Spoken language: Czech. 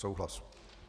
Souhlas.